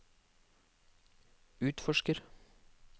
utforsker